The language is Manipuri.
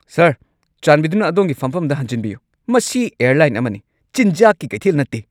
ꯁꯔ, ꯆꯥꯟꯕꯤꯗꯨꯅ ꯑꯗꯣꯝꯒꯤ ꯐꯝꯐꯝꯗ ꯍꯟꯖꯤꯟꯕꯤꯌꯨ꯫ ꯃꯁꯤ ꯑꯦꯔꯂꯥꯏꯟ ꯑꯃꯅꯤ, ꯆꯤꯟꯖꯥꯛꯀꯤ ꯀꯩꯊꯦꯜ ꯅꯠꯇꯦ!